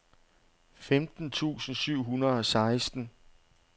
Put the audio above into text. femten tusind syv hundrede og seksten